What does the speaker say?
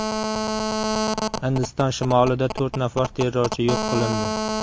Hindiston shimolida to‘rt nafar terrorchi yo‘q qilindi.